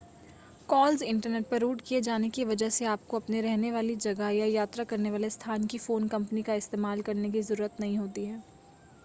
calls internet पर route किए जाने की वजह से आपको अपने रहने वाली जगह या यात्रा करने वाले स्थान की फ़ोन कंपनी का इस्तेमाल करने की ज़रूरत नहीं होती है